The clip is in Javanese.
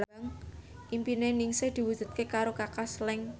impine Ningsih diwujudke karo Kaka Slank